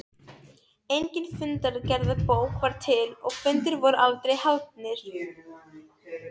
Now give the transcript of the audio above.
Engin fundargerðarbók var til og fundir voru aldrei haldnir.